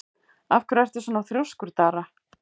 Af hverju ertu svona þrjóskur, Dara?